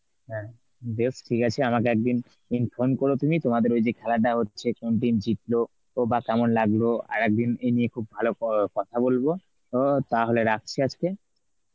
হ্যাঁ বেশ ঠিক আছে আমাকে একদিন inform করো তুমি তোমাদের ওই যে খেলাটা হচ্ছে, কোন team জিতল বা কেমন লাগলো তো আরেকদিন এ নিয়ে খুব ভালো ক~ কথা বলবো. তো তাহলে রাখছি আজকে?